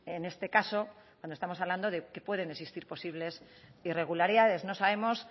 en este caso cuando estamos hablando de que pueden existir posibles irregularidades no sabemos